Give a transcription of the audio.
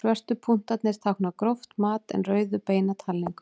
Svörtu punktarnir tákna gróft mat en rauðu beina talningu.